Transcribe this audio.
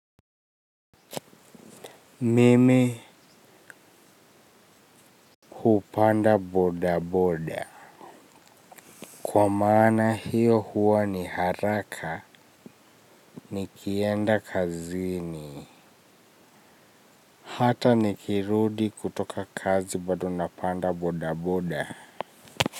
Mimi hupanda bodaboda. Kwa maana hiyo huwa ni haraka nikienda kazini. Hata nikirudi kutoka kazi bado napanda bodaboda.